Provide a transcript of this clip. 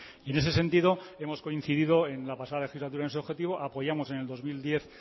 y en ese sentido hemos coincidido en la pasada legislatura en su objetivo apoyamos en el dos mil diez